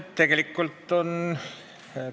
Aitäh küsijale!